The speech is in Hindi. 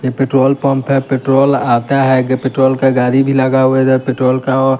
ये पेट्रोल पंप है पेट्रोल आता है आगे पेट्रोल का गाड़ी भी लगा हुआ है इधर पेट्रोल का औ--